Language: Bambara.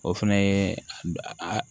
O fɛnɛ ye a